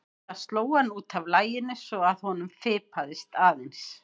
Það sló hann út af laginu svo að honum fipaðist aðeins.